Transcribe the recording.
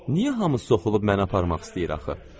Niyə hamı soxulub mənə aparmaq istəyir axı?